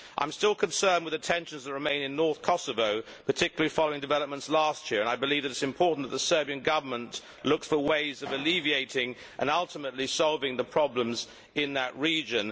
I am still concerned with the tensions that remain in North Kosovo, particularly following developments last year, and I believe it is important that the Serbian Government looks for ways of alleviating and ultimately solving the problems in that region.